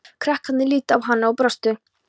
Krakkarnir litu á hana og brostu.